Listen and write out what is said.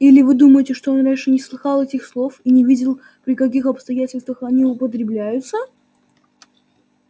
или вы думаете что он раньше не слыхал этих слов и не видел при каких обстоятельствах они употребляются